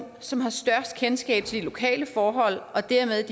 som har størst kendskab til de lokale forhold og dermed